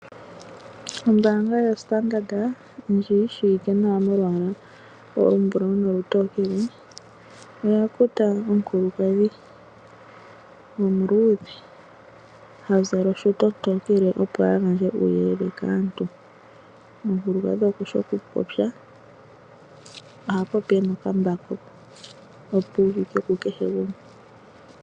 Ombanga yoStandard ndji yi shiwike nawa molwaala olumbulawu nolutookele , oya kuta omukulukadhi omuludhe ha zala oshuta ontokele opo a gandje uuyelele kaantu. Omukulukadhi okushi okupopya, oha popi ena okambako opo uvike ku kehe gumwe.